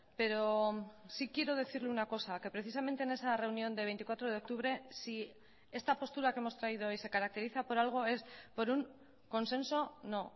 pero sí quiero decirle una cosa que precisamente en esa reunión de veinticuatro de octubre si esta postura que hemos traído hoy se caracteriza por algo es por un consenso no